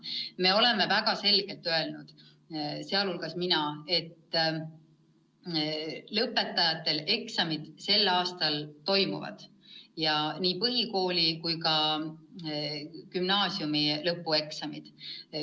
Me oleme väga selgelt öelnud, sealhulgas mina, et lõpueksamid sel aastal toimuvad – nii põhikooli- kui ka gümnaasiumi lõpueksamid.